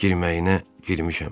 Girməyinə girmişəm.